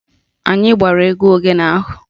Anyị gbara egwu ogene ahụ